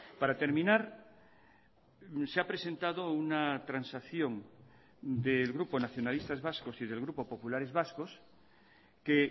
para terminar se ha presentado una transacción del grupo nacionalistas vascos y del grupo populares vascos que